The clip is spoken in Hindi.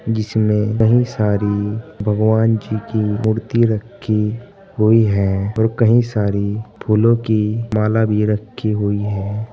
जिसमें कई सारी भगवान जी की मूर्ति रखी हुई है और कई सारी फूलों की माला भी रखी हुई है।